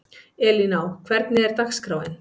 Elíná, hvernig er dagskráin?